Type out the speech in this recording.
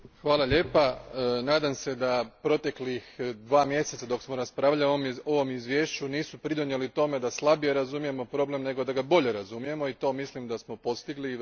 Gospođo Šuica, nadam se da protekla dva mjeseca, dok smo raspravljali o ovom izvješću, nisu pridonijela tome da slabije razumijemo problem, nego da ga bolje razumijemo i to mislim da smo postigli.